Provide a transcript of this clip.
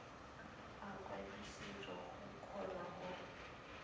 a kwadisitswe go kgona go